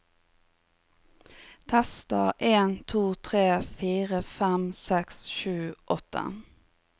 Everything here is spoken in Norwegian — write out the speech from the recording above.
Tester en to tre fire fem seks sju åtte